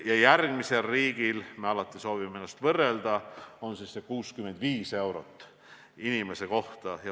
Meile järgneval riigil – me alati soovime ennast võrrelda – on see näitaja 65 eurot inimese kohta.